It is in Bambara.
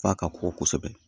F'a ka kɔkɔ kosɛbɛ